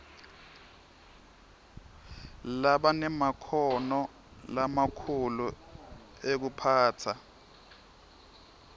labanemakhono lamakhulu ekuphatsa